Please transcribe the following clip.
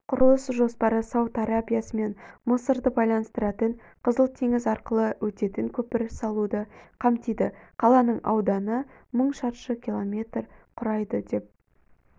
құрылыс жоспары сауд арабиясы мен мысырды байланыстыратын қызыл теңіз арқылы өтетін көпір салуды қамтиды қаланың ауданы мың шаршы км құрайды деп